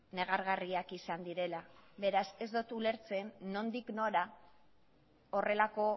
negargarriak izan direla beraz ez dot ulertzen nondik nora horrelako